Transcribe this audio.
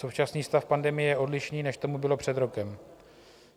Současný stav pandemie je odlišný, než tomu bylo před rokem.